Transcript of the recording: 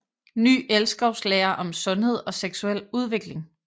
Ny elskovslære om sundhed og seksuel udvikling